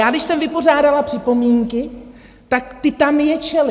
Já když jsem vypořádala připomínky, tak ti tam ječeli!